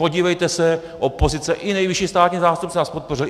Podívejte se, opozice, i nejvyšší státní zástupce nás podpořil.